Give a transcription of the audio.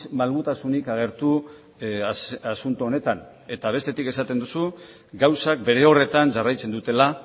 malgutasunik agertu asunto honetan eta bestetik esaten duzu gauzak bere horretan jarraitzen dutela